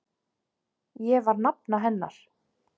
Ég var nafna hennar.